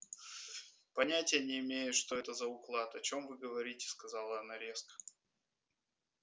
понятия не имею что это за уклад о чём вы говорите сказала она резко